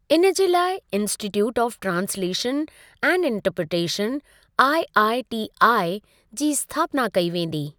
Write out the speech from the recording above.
इन जे लाइ 'institute of translation and interpretation' (IITI) जी स्थापना कई वेंदी।